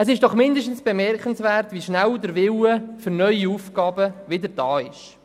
Es ist doch mindestens bemerkenswert, wie schnell der Wille für neue Aufgaben wieder vorhanden ist.